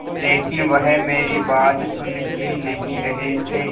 लेकिन वह मेरी बात सुन ही नहीं रहे थे